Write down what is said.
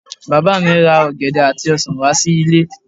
Bàbá mi ra ọ̀gẹ̀dẹ̀ àti ọsàn wá sí ilé